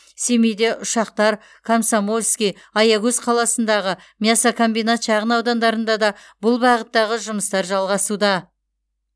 семейде ұшақтар комсомольский аягөз қаласындағы мясокомбинат шағын аудандарында да бұл бағыттағы жұмыстар жалғасуда